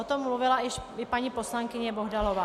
O tom mluvila i paní poslankyně Bohdalová.